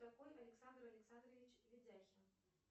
кто такой александр александрович ведяхин